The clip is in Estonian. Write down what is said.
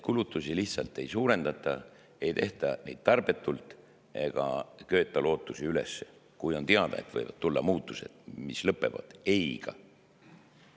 Kulutusi lihtsalt ei suurendata, ei tehta neid tarbetult ega köeta üles lootusi, kui on teada, et võivad tulla muutused, mis lõpevad ei-sõnaga.